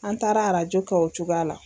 An taara arajo kɛ o cogoya la.